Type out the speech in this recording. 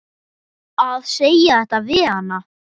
Að segja þetta við hana.